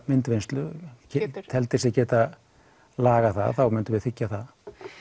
myndvinnslu teldi sig geta lagað það þá myndum við þiggja það